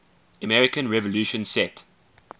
american revolution set